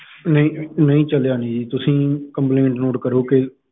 ਨਹੀਂ ਨਹੀਂ ਚੱਲਿਆ ਜੀ ਤੁਸੀਂ complaint note ਕਰੋ ਕੇ।